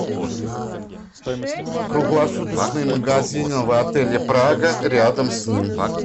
круглосуточные магазины в отеле прага рядом с ним